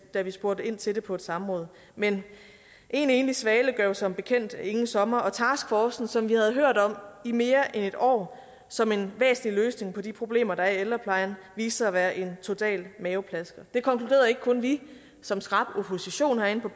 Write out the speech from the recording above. da vi spurgte ind til det på et samråd men én svale gør jo som bekendt ingen sommer og taskforcen som vi havde hørt om i mere end et år som en væsentlig løsning på de problemer der er i ældreplejen viste sig at være en total maveplasker det konkluderede ikke kun vi som skrap opposition herinde på